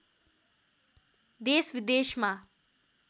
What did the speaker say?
देश विदेशमा